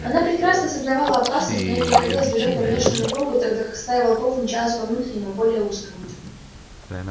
она прекрасно сознавала опасность но ей приходилось бежать по внешнему кругу тогда как стая волков мчалась по внутреннему более узкому